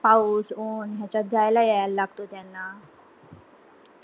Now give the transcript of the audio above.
पाऊस ऊन याच्यात जायला यायला लागतो त्यांना